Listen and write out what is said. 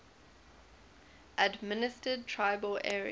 administered tribal areas